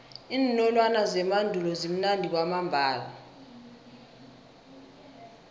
iinolwana zemandulo zimnandi kwamambala